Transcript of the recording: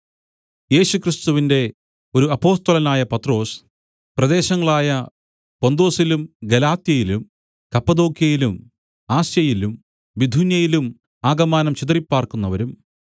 യേശുക്രിസ്തുവിന്റെ ഒരു അപ്പൊസ്തലനായ പത്രൊസ് പ്രദേശങ്ങളായ പൊന്തൊസിലും ഗലാത്യയിലും കപ്പദോക്യയിലും ആസ്യയിലും ബിഥുന്യയിലും ആകമാനം ചിതറിപ്പാർക്കുന്നവരും